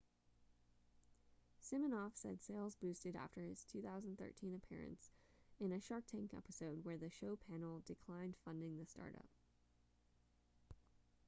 siminoff said sales boosted after his 2013 appearance in a shark tank episode where the show panel declined funding the startup